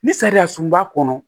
Ni sariya sun b'a kɔnɔ